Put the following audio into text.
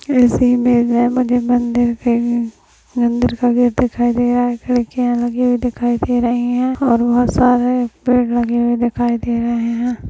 मंदिर का गेट दिखाई दे रहा है खिड़कियां लगी हुई दिखाई दे रही हैं और बहोत सारे पेड़ लगे दिखाई दे रहे हैं।